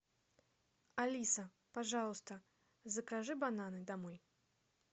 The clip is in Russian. алиса пожалуйста закажи бананы домой